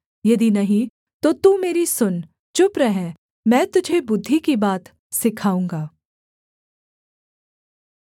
यदि नहीं तो तू मेरी सुन चुप रह मैं तुझे बुद्धि की बात सिखाऊँगा